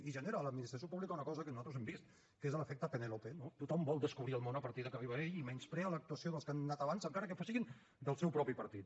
i genera a l’administració pública una cosa que nosaltres hem vist que és l’efecte penèlope no tothom vol descobrir el món a partir que arriba ell i menysprea l’actuació dels que han anat abans encara que siguin del seu propi partit